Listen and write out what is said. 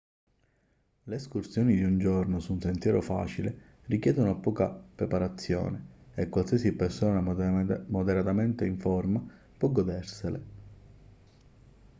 le escursioni di un giorno su un sentiero facile richiedono poca preparazione e qualsiasi persona moderatamente in forma può godersele